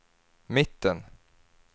mitten